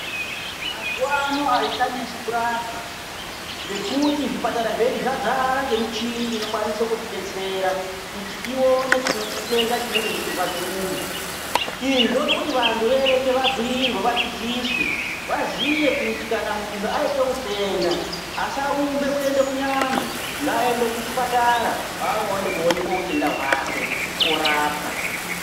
Mazuwa ano azvichanesi kurapwa ngekuti zvipatara zvedu zvadzara ngemichini inokwanise kutidetsera kuti ione chitenda chinenge cheirwadza muntu. Izvi zvode kuti vantu veshe vabhuirwe vadzidziswe kuti kana muntu waite utenda asarumbe kuende kun'anga ngaaende kuchipatara kwaanoenda koonekwa utenda hwake, orapwa.